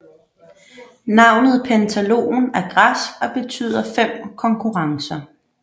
Navnet Pentathlon er græsk og betyder fem konkurrencer